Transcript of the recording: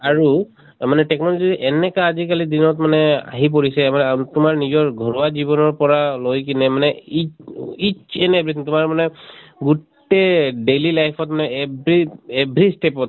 আৰু মানে technology তো এনেকা আজিকালি দিনত মানে আহি পৰিছে আ আম তোমাৰ নিজৰ ঘৰুৱা জীৱণৰ পৰা লৈ কেনে মানে ই ইত each and everything তোমাৰ মানে গোটেই daily life ত মানে every every step ত